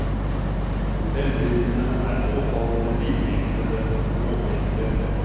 Hotellbildene er påfallende vidvinklede og blåfiltrerte.